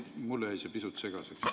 Mulle jäi see pisut segaseks.